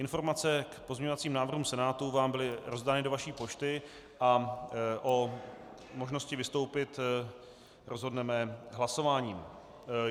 Informace k pozměňovacím návrhům Senátu vám byly rozdány do vaší pošty a o možnosti vystoupit rozhodneme hlasováním.